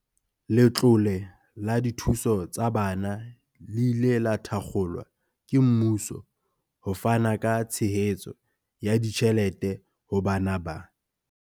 Letlole la dithuso tsa bana le ile la thakgolwa ke mmuso ho fana ka tshehetso ya ditjhelete ho bana ba.